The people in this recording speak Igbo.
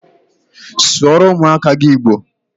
Sụọrọ ụmụaka gị Igbo!